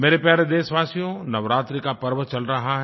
मेरे प्यारे देशवासियो नवरात्रि का पर्व चल रहा है